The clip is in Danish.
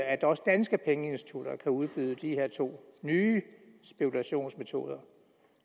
at også danske pengeinstitutter kan udbyde de her to nye spekulationsmetoder